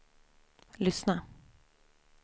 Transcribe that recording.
lyssna